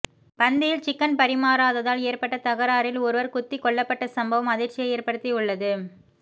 பந்தியில் சிக்கன் பரிமாறாததால் ஏற்பட்ட தகராறில் ஒருவர் குத்திக்கொல்லப்பட்டச் சம்பவம் அதிர்ச்சியை ஏற்படுத்தியுள்ளது